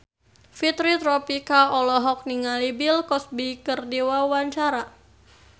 Fitri Tropika olohok ningali Bill Cosby keur diwawancara